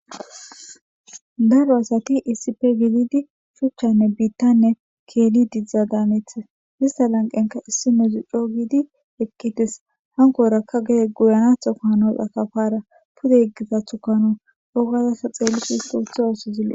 Daro asati isi pe giididi shuchchanne biittanne keeli didzdza daameethes hista lanqenka issi medzu co giidi ekkites hankorakka gede guyanatho kaanos akafara pude yeggizathu kano ogazasa xeellifi his tootha oosi zille